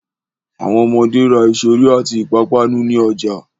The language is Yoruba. Àwọn ọmọde ra ìṣeré àti ìpápánu ní ọjà.